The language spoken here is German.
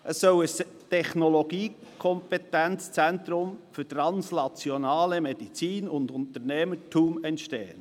Es soll ein Technologie-Kompetenzzentrum für translationale Medizin und Unternehmertum entstehen.